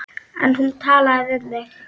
En hún talaði við mig.